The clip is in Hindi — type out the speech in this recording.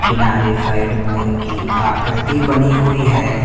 किनारे साइड मोर की आकृति बनी हुई है।